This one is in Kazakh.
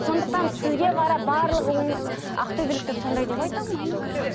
сондықтан сізге қарап барлығы ақтөбеліктер сондай деп айта алмаймын